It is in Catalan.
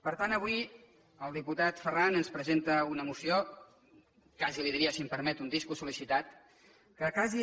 per tant avui el diputat ferran ens presenta una moció quasi li diria si m’ho permet un disc sol·licitat que quasi